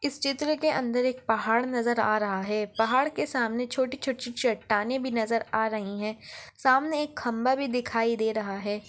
इस चित्र के अंदर एक पहाड़ नजर आ रहा हैं पहाड़ के सामने छोटी-छोटी चट्टानें भी नजर आ रहीं हैं सामने एक खंबा भी दिखाई दे रहा हैं।